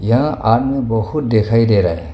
यहां आदमी बहुत दिखाई दे रहा है।